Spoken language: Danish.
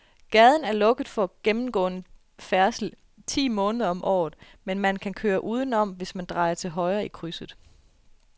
Gaden er lukket for gennemgående færdsel ti måneder om året, men man kan køre udenom, hvis man drejer til højre i krydset.